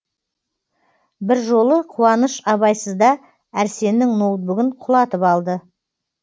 бір жолы қуаныш абайсызда әрсеннің ноутбугін құлатып алды